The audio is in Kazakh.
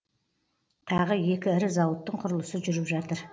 тағы екі ірі зауыттың құрылысы жүріп жатыр